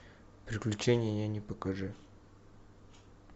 приключения няни покажи